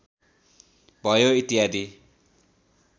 भयो इत्यादि